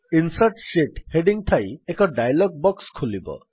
insert sheet heading ଥାଇ ଏକ dialogue box ଖୋଲିବ